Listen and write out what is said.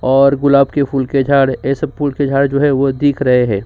और गुलाब के फूल के झाड़ ऐसे फूल के झाड़ जो है वो दिख रहे है।